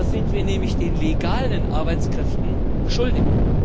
Das sind wir nämlich den legalen Arbeitskräften schuldig.